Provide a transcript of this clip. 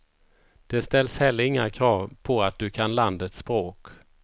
Det ställs heller inga krav på att du kan landets språk.